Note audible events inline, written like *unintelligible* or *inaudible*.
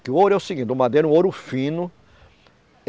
Que o ouro é o seguinte, o madeiro é um ouro fino. *unintelligible*